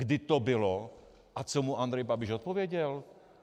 Kdy to bylo a co mu Andrej Babiš odpověděl?